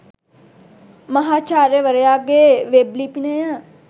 මහාචාර්යවරයාගේ web ලිපිනය